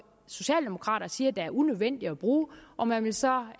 socialdemokrater siger det er unødvendigt at bruge og man vil så